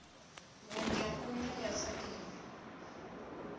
vhinya vhinya yaḽo saḽi no